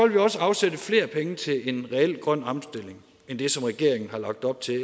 vi også afsætte flere penge til en reel grøn omstilling end det som regeringen har lagt op til i